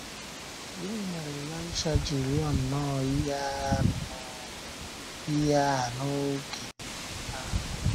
Gịnị mere Ịlaịsha ji rịọ nnọọ ihe a nnọọ ihe a n’oge ahụ?